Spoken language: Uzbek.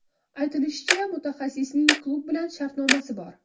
Aytilishicha, mutaxassisning klub bilan shartnomasi bor.